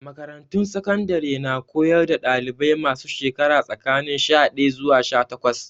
Makarantun sakandare na koyar da dalibai masu shekaru tsakanin sha daya zuwa sha takwas.